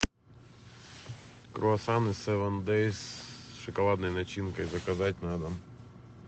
круассаны севен дейс с шоколадной начинкой заказать на дом